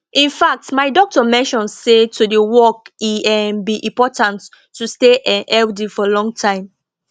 in fact my doctor mention say to dey walk e um be important to stay um healthy for long time